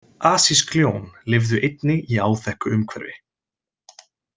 Asísk ljón lifðu einnig í áþekku umhverfi.